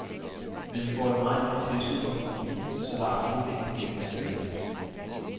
Men vi får et meget lille tilskud fra kommunen, så der er absolut ingen penge til lønninger.